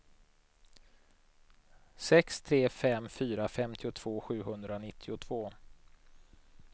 sex tre fem fyra femtiotvå sjuhundranittiotvå